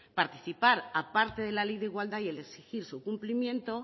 participar a parte de la ley de igualdad y el exigir su cumplimiento